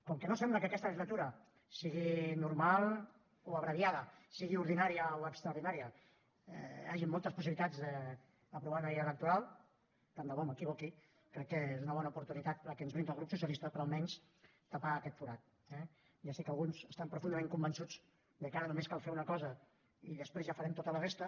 com que no sembla que en aquesta legislatura sigui normal o abreviada sigui ordinària o extraordinària hi hagin moltes possibilitats d’aprovar una llei electoral tant de bo m’equivoqui crec que és una bona oportunitat la que ens brinda el grup socialista per almenys tapar aquest forat eh ja sé que alguns estan profundament convençuts que ara només cal fer una cosa i després ja farem tota la resta